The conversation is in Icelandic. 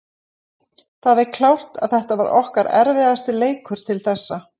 Það er klárt að þetta var okkar erfiðasti leikur til þessa